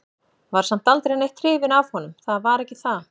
Var samt aldrei neitt hrifin af honum, það var ekki það.